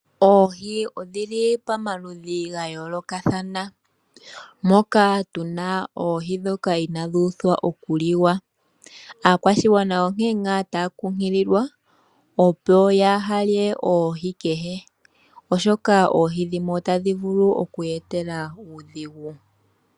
Oohi odhili pomaludhi gayoolokathana moka tu na oohi ndhoka inaadhi uthwa okuliwa. Aakwashigwana onkene ngaa taya kunkililwa opo yaha lye oohi kehe oshoka oohi dhimwe otadhi vulu okuya etela uudhigu.